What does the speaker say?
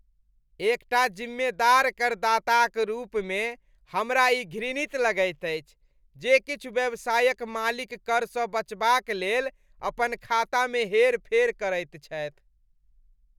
एकटा जिम्मेदार करदाताक रूपमे हमरा ई घृणित लगैत अछि जे किछु व्यवसायक मालिक करसँ बचबाक लेल अपन खातामे हेरफेर करैत छथि।